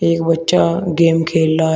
एक बच्चा गेम खेल रहा है।